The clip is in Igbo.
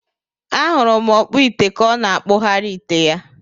Ahuru m okpu ite ka ọ na akpu ghari ite ya.